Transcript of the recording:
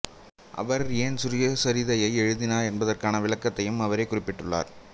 அவர் ஏன் சுயசரிதை எழுதினார் என்பதற்கான விளக்கத்தையும் அவரே குறிப்பிட்டுள்ளார்